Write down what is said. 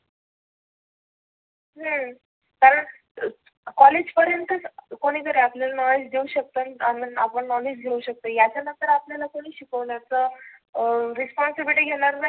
हम्म कारण कॉलेज पर्यंतच कोणितरी आपल्याला नॉलेज देऊ शकतो आण आपण नॉलेज घेऊ शकतो यांच्यानंतर आपल्याला कोणी शिकवणार responsibility घेणार नाही.